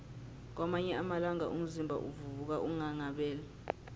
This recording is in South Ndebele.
kwamanye amalanga umzimba uvuka unghanghabele